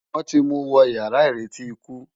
Wòn ti mú wò iyàrá iréti ikú